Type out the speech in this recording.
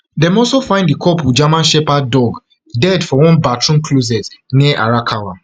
dem also find di couple german shepherd dog dead for one bathroom closet near arakawa